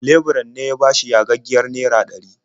Leburan ne ya bashi yagaggiyar naira ɗari.